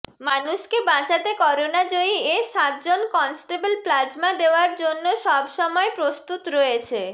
মানুষকে বাঁচাতে করোনা জয়ী এ সাত জন কনস্টেবল প্লাজমা দেওয়ার জন্য সব সময় প্রস্তুত রয়েছে